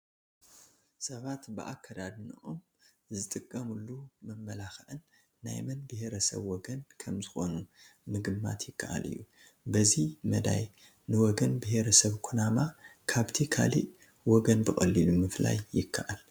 ሰባት ብኣከዳድንኦም ዝጥቀሙሉ መመላክዕን ናይ መን ብሄረሰብ ወገን ከምዝኾኑ ምግማት ይከኣል እዩ፡፡ በዚ መዳይ ንወገን ብሄረሰብ ኩናማ ካብቲ ካልእ ወገን ብቐሊሉ ምፍላይ ይከኣል፡፡